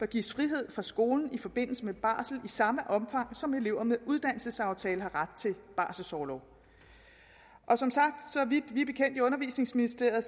gives frihed fra skolen i forbindelse med barsel i samme omfang som elever med en uddannelsesaftale har ret til barselsorlov og som sagt så vidt vi i undervisningsministeriet er